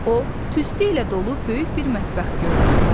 O tüstü ilə dolub böyük bir mətbəx gördü.